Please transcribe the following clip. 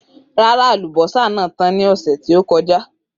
Rara, alubosa naa tan ni ọsẹ to kọja.